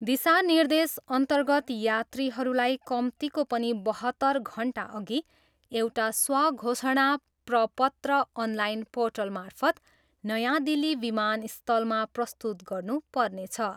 दिशानिर्देशअर्न्तगत यात्रीहरूलाई कम्तीको पनि बहत्तर घन्टाअघि एउटा स्वघोषणा प्रपत्र अनलाइन पोर्टलमार्फत नयाँ दिल्ली विमानस्थलमा प्रस्तुत गर्नु पर्नेछ।